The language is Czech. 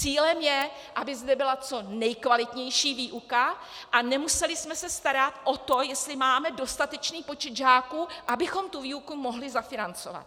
Cílem je, aby zde byla co nejkvalitnější výuka a nemuseli jsme se starat o to, jestli máme dostatečný počet žáků, abychom tu výuku mohli zafinancovat.